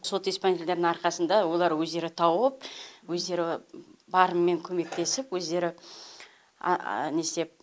сот исполнительдердің арқасында олар өздері тауып өздері барымен көмектесіп өздері не істеп